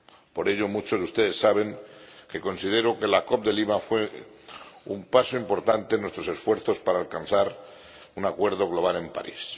Por ello, muchos de ustedes saben que considero que la COP de Lima fue un paso importante en nuestros esfuerzos para alcanzar un acuerdo global en París.